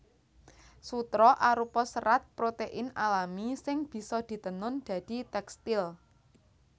Sutra arupa serat protein alami sing bisa ditenun dadi tèkstil